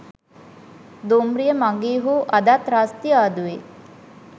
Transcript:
දුම්රිය මඟිහු අදත් රස්තියාදුවේ